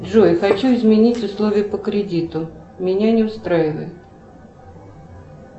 джой хочу изменить условия по кредиту меня не устраивает